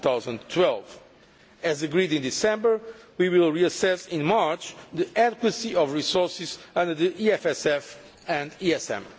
2012. As agreed in December, we will reassess in March the adequacy of resources under the EFSF and the ESM.